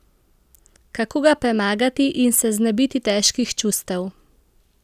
Kako ga premagati in se znebiti težkih čustev?